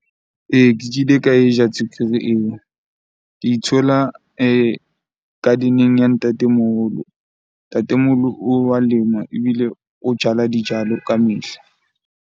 Ee, ke kile ka e ja tswekere eo. Ke di thola garden-eng ya ntatemoholo. Ntatemoholo o wa lema ebile o jala dijalo ka mehla.